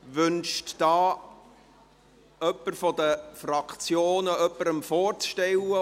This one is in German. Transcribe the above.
Wünscht jemand von den Fraktionen jemanden vorzustellen?